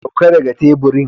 Sauka daga teburin!